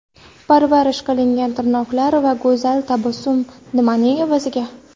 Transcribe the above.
Parvarish qilingan tirnoqlar va go‘zal tabassum nimaning evaziga?.